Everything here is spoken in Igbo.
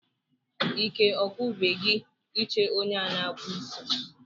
Ike ọgwụbeghị gị ị che onye a na-akpụ isí?